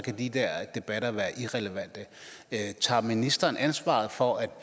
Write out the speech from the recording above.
de der debatter være irrelevante tager ministeren ansvaret for at